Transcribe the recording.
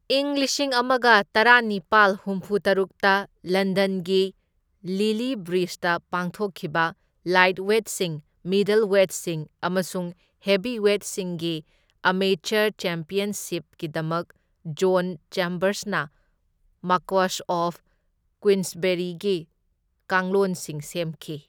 ꯢꯪ ꯂꯤꯁꯤꯡ ꯑꯃꯒ ꯇꯔꯥꯅꯤꯄꯥꯜ ꯍꯨꯝꯐꯨꯇꯔꯨꯛꯇ ꯂꯟꯗꯟꯒꯤ ꯂꯤꯂꯤ ꯕ꯭ꯔꯤꯖꯇ ꯄꯥꯡꯊꯣꯛꯈꯤꯕ ꯂꯥꯏꯠꯋꯦꯠꯁꯤꯡ, ꯃꯤꯗꯜꯋꯦꯠꯁꯤꯡ ꯑꯃꯁꯨꯡ ꯍꯦꯚꯤꯋꯦꯠꯁꯤꯡꯒꯤ ꯑꯦꯃꯦꯆꯔ ꯆꯦꯝꯄꯤꯌꯟꯁꯤꯞꯁꯤꯡꯒꯤꯗꯃꯛ ꯖꯣꯟ ꯆꯦꯝꯕꯔꯁꯅ ꯃꯥꯀ꯭ꯋꯁ ꯑꯣꯐ ꯀ꯭ꯋꯤꯟꯁꯕꯦꯔꯤꯒꯤ ꯀꯥꯡꯂꯣꯟꯁꯤꯡ ꯁꯦꯝꯈꯤ꯫